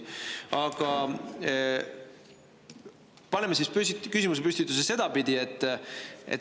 Aga paneme küsimuse püsti sedapidi.